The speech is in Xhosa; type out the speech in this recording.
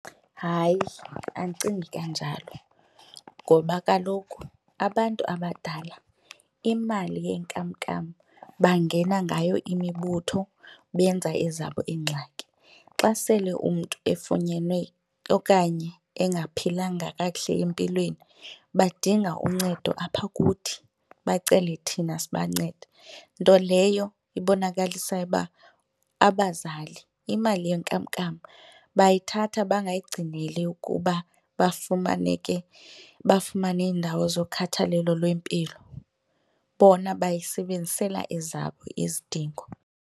Hayi, andicingi kanjalo ngoba kaloku abantu abadala imali yenkamnkam bangena ngayo imibutho benza ezabo ingxaki. Xa sele umntu efunyenwe okanye engaphilanga kakuhle empilweni badinga uncedo apha kuthi bacele thina sibancede, nto leyo ibonakalisayo uba abazali imali yenkamnkam bayithatha bangayigcineli ukuba bafumane ke bafumane indawo zokhathalelo lwempilo, bona bayisebenzisela ezabo izidingo.